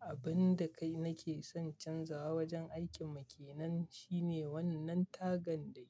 Abun da kai nake son canzawa wajen aikin mu kenan shine wannan tagan dai.